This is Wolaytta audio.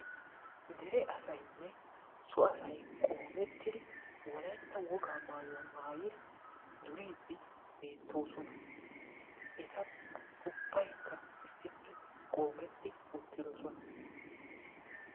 dere asaynne so asay qoomettidi wolaytta wogaa maayuwa maayidi duriidi beetoosona. eti ubbaykka issippe qoometti uttidosona.